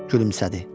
Gülümsədi.